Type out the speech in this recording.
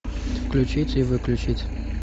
включить и выключить